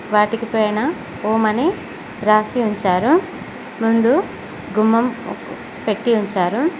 వాటికి పైన ఓం అని రాసి ఉంచారు ముందు గుమ్మం పెట్టీ ఉంచారు.